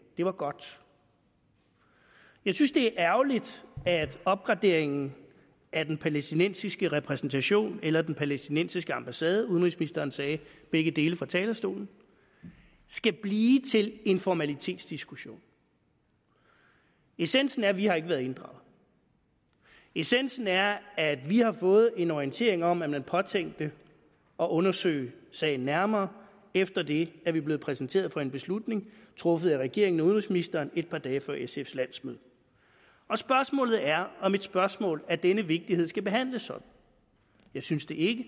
det var godt jeg synes det er ærgerligt at opgraderingen af den palæstinensiske repræsentation eller den palæstinensiske ambassade udenrigsministeren sagde begge dele fra talerstolen skal blive til en formalitetsdiskussion essensen er at vi ikke har været inddraget essensen er at vi har fået en orientering om at man påtænkte at undersøge sagen nærmere og efter det er vi blevet præsenteret for en beslutning truffet af regeringen og udenrigsministeren et par dage før sfs landsmøde spørgsmålet er om et spørgsmål af denne vigtighed skal behandles sådan jeg synes det ikke